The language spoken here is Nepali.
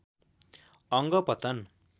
अङ्ग पतन